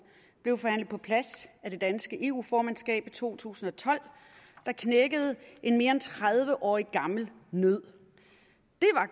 blev forhandlet på plads af det danske eu formandskab i to tusind og tolv der knækkede en mere end tredive årig gammel nød